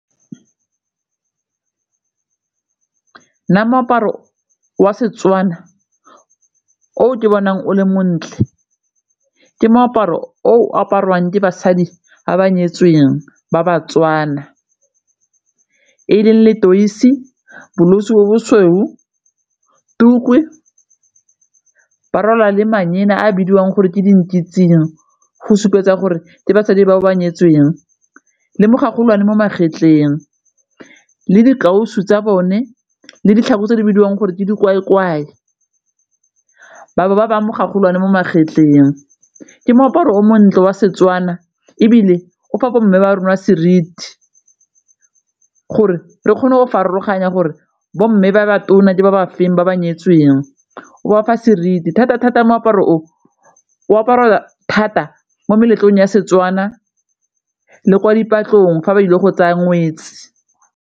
Nna moaparo waSetswana oo ka bonang o le montle ke moaparo o apariwang ke basadi ga ba nyetsweng baba-Tswana e leng letoisi, bo bo sweu, tuku fa ba rola le mangena a a bidiwang gore ke di go supetsa gore ke basadi bao ba nyetseng le mo magetleng le dikatiso tsa bone le ditlhako tse di bidiwang gore ke batho ba ba mogolwane mo magetleng. Ke moaparo o montle wa Setswana ebile o fa bomme ba rona ba seriti gore re kgone go farologanya gore bomme ba ba tona ke ba ba feng, ba ba nyetsweng o ba fa seriti thata-thata, moaparo o o aparela thata mo meletlong ya Setswana le kwa di fa ba ile go tsaya ngwetsi.